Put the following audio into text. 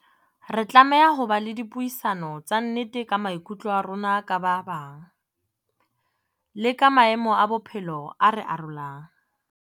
Re tlameha ho ba le dipuisano tsa nnete ka maikutlo a rona ka ba bang, le ka maemo a bophelo a re arolang.